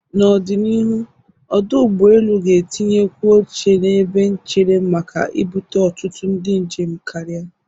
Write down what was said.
N'ọdịnihu, ọdụ ụgbọelu ga-etinyekwu oche n'ebe nchere makka ibute ọtụtụ ndị njem karịa.